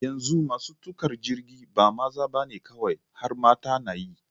Yanzu masu tuƙa jirgi ba maza ba ne kawai har mata na yi.